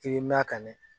I bɛ mɛn ka ɲɛ